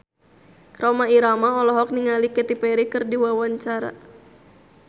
Rhoma Irama olohok ningali Katy Perry keur diwawancara